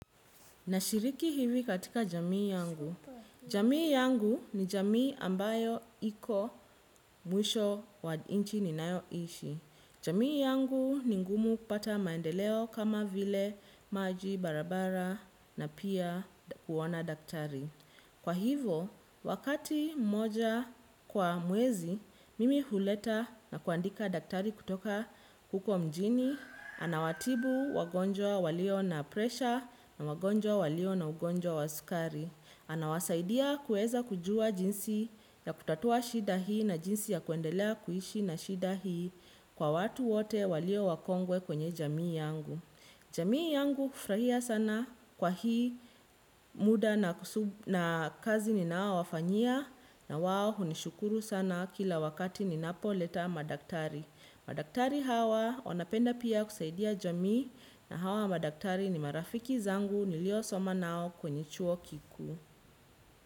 Na shiriki hivi katika jamii yangu. Jamii yangu ni jamii ambayo iko mwisho wa nchi ninayo ishi. Jamii yangu ni ngumu kupata maendeleo kama vile maji barabara na pia kuona daktari. Kwa hivo, wakati moja kwa mwezi, mimi huleta na kuandika daktari kutoka huko mjini, anawatibu wagonjwa walio na presha na wagonjwa walio na ugonjwa wa sukari. Anawasaidia kuweza kujua jinsi ya kutatua shida hii na jinsi ya kuendelea kuishi na shida hii kwa watu wote walio wakongwe kwenye jamii yangu. Jamii yangu hufurahia sana kwa hii muda na kazi ninaowafanyia na wao hunishukuru sana kila wakati ninapo leta madaktari. Madaktari hawa wanapenda pia kusaidia jamii na hawa madaktari ni marafiki zangu nilio soma nao kwenye chuo kikuu.